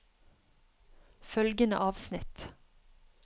Følgende avsnitt